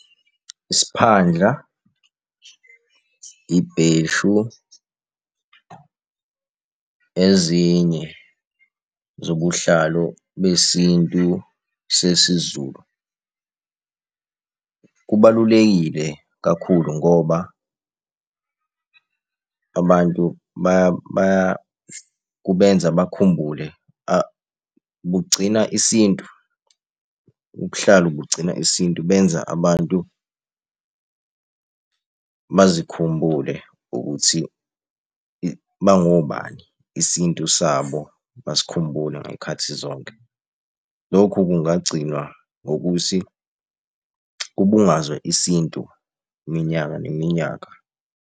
Isiphandla, ibheshu, ezinye zobuhlalo besintu sesiZulu. Kubalulekile kakhulu ngoba abantu kubenza bakhumbule. Bugcina isintu, ubuhlalu bugcina isintu benza abantu, bazikhumbule ukuthi bangobani, isintu sabo basikhumbule ngey'khathi zonke. Lokhu kungagcinwa ngokuthi kubungazwe isintu iminyaka neminyaka.